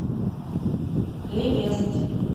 ли вест